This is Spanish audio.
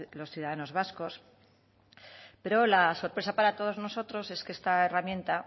los ciudadanos vascos pero la sorpresa para todos nosotros es que esta herramienta